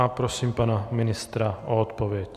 A prosím pana ministra o odpověď.